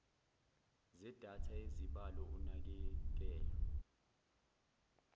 zedatha yezibalo unakekelo